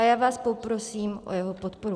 A já vás poprosím o jeho podporu.